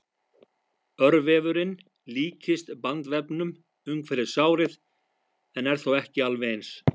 Örvefurinn líkist bandvefnum umhverfis sárið en er þó ekki alveg eins.